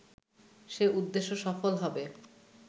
সে উদ্দেশ্য সফল হবে